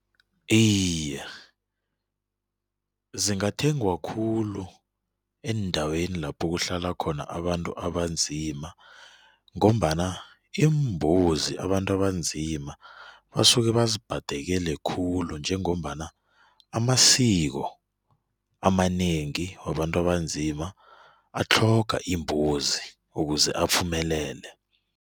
Iye, zingathengwa khulu eendaweni lapho kuhlala khona abantu abanzima ngombana iimbuzi abantu abanzima basuke bazibhadekele khulu njengombana amasiko amanengi wabantu abanzima atlhoga imbuzi ukuze uphumelele.